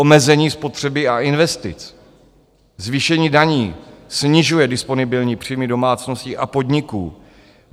Omezení spotřeby a investic, zvýšení daní snižuje disponibilní příjmy domácností a podniků.